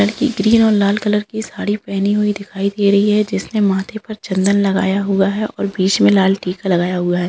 लड़की ग्रीन और लाल कलर की साडी पहनी हुई दिखाई दे रही है जिसने माथे पर चंदन लगाया हुआ है और बीच में लाल टिका लगाया हुआ है।